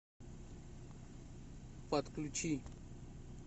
подключи